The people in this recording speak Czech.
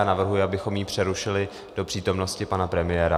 Já navrhuji, abychom ji přerušili do přítomnosti pana premiéra.